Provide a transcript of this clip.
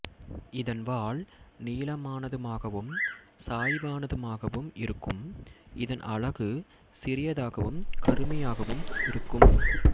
இதன் வால் நீளமானதுமாகவும் சாய்வானதுமாகவும் இருக்கும் இதன் அலகு சிறியதாகவும் கருமையாகவும் இருக்கும்